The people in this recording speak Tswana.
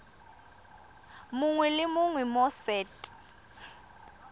mongwe le mongwe mo set